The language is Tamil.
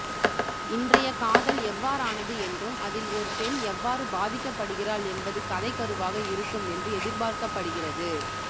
இன்றைய காதல் எவ்வாறானது என்றும் அதில் ஒர் பென் எவ்வாறு பாதிக்கப்படுகறாள் என்பது கதை கருவாக இருக்கும் என்று எதிர்பாக்கப்படுகிறது